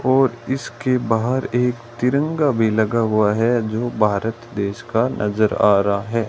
और इसके बाहर एक तिरंगा भी लगा हुआ है जो भारत देश का नजर आ रहा है।